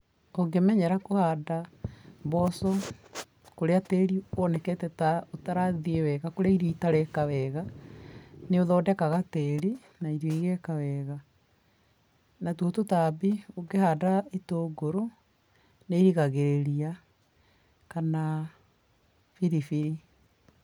Ũngĩmenyera kũhanda mboco kũrĩa tĩrĩ wonekete ta ũtarathiĩ wega, kũrĩa irio itareka wega, nĩũthondekaga tĩrĩ na irio igeka wega natuo tũtambi ũngĩhanda itũngũrũ nĩ irigagĩrĩria kana biribiri.